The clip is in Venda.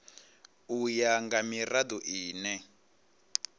u ya nga mirado ine